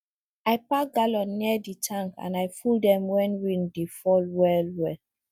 i pack gallon near the tank and i full dem when rain dey fall well well